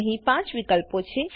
અહી 5 વિકલ્પો છે